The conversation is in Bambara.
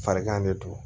Farigan de don